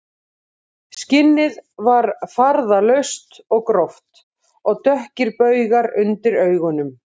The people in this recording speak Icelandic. Skinnið var farðalaust og gróft og dökkir baugar undir augunum